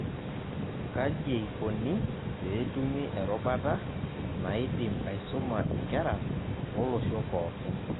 Kajieikoni peetumi erubata naidim aisuma inkera olosho pookon.